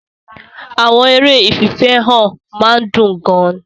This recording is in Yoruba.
Àwọn eré ìfìfẹ́hàn máa ń dùn gan-an.